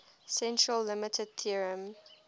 central limit theorem